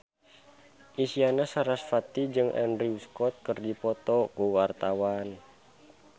Isyana Sarasvati jeung Andrew Scott keur dipoto ku wartawan